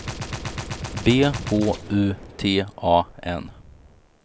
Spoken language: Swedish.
B H U T A N